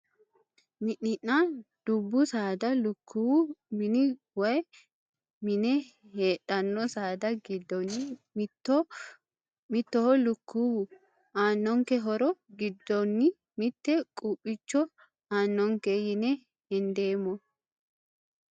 Mininna dubbu saada lukkuwu mini woyi mine heedhanno saada giddonni mittoho lukkuwu aannonke horo giddonni mitte quuphiicho aannonke yine hendeemmo